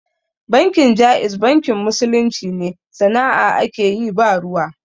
Bankin Jaiz bankin musulunci ne, sana'a ake yi ba ruwa.